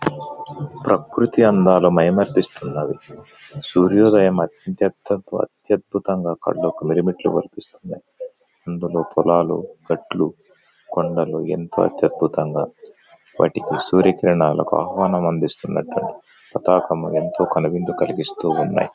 ప్రకృతి అందాలు మైమరిపిస్తున్నవి. సూర్యోదయం అత్యద్భుతంగా కళ్ళకు మిరమిట్లు గొలిపిస్తున్నయి. అందులో పొలాలు గట్లు కొండలు ఎంతో అత్యద్భుతంగా వాటికి సూర్యకిరణాలకు ఆహ్వానం అందిస్తున్నట్టు ఎంతో కనువిందు కలిగిస్తూ ఉన్నాయ్.